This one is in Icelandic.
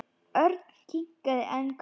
Örn kinkaði enn kolli.